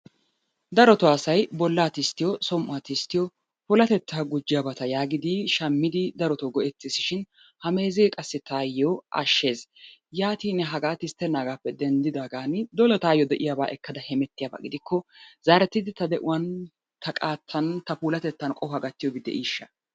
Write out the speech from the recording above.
Darotoo asay bollaa tisttiyo som"uwa tisttiyo puulateta gujjiyaabata yaagiidi shammidi darotoo go"ettesishin ha meezee qassi taayo ashshees. Yaatin hagaa tisttenaagaappe denddidaagan dola taayoo de"iyaaba ekkada hemettiyaba gidikko zaarettidi ta de"uwaan ta qaattan ta puulatetan qohuwa gattiyoobi de"iishsha?